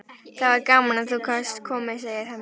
Það var gaman að þú gast komið, segir Hemmi.